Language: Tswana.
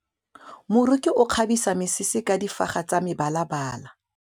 Moroki o kgabisa mesese ka difaga tsa mebalabala.